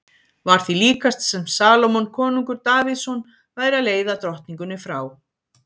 Var því líkast sem Salómon konungur Davíðsson væri að leiða drottningunni frá